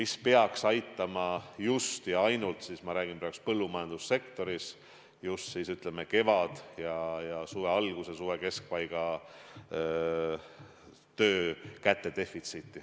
See peaks aitama – ma räägin praegu ainult põllumajandussektorist – leevendada kevade ja suve alguse, suve keskpaiga töökätedefitsiiti.